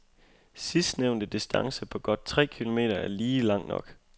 Sidstnævnte distance på godt tre kilometer er lige lang nok.